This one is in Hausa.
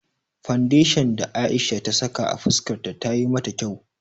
Fandeshan da Aisha ta saka a fuskar ta tayi mata kyau.